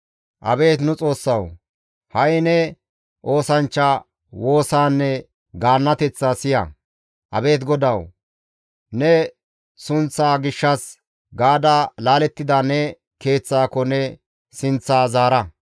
«Abeet nu Xoossawu! Ha7i ne oosanchcha woosaanne gaannateththaa siya; abeet Godawu, ne sunththaa gishshas gaada laalettida ne keeththaako ne sinththaa zaara.